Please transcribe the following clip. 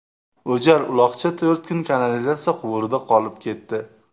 O‘jar uloqcha to‘rt kun kanalizatsiya quvurida qolib ketdi.